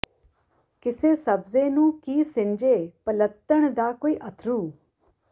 ਕਿਸੇ ਸਬਜ਼ੇ ਨੂੰ ਕੀ ਸਿੰਜੇ ਪਲੱਤਣ ਦਾ ਕੋਈ ਅੱਥਰੂ